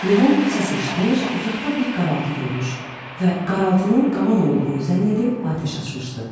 Levon səs eşitmiş, uzaqda bir qaraltı görmüş və qaraltının qaban olduğunu zənn edib atəş açmışdı.